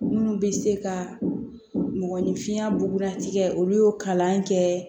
Minnu bɛ se ka mɔgɔninfinya bugudati kɛ olu y'o kalan kɛ